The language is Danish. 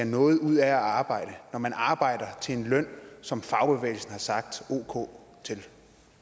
noget ud af at arbejde når man arbejder til en løn som fagbevægelsen har sagt